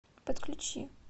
подключи